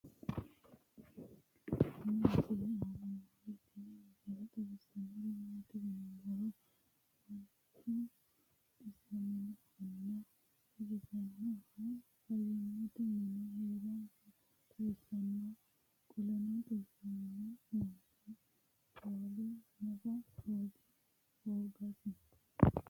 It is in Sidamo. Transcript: tenne misile aana noorina tini misile xawissannori maati yinummoro manchu xisaminnohunna xagisanninnohu fayiimmatte minne heeransa xawissanno qolenno xisamminno manchi foolla nafa hoogasi